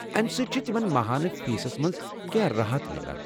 امہِ سۭتۍ چھِ تِمن ماہانہٕ فیسس منٛز كینٛہہ راحت میلان ۔